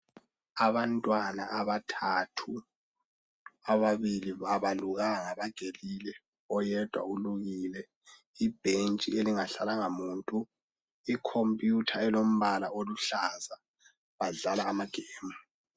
Abantwana abathathu ababili abalukanga bagelile oyedwa ulukile. Ibhentshi elingahlalanga muntu, ikhomputha elombala oluhlaza badlala amagemu.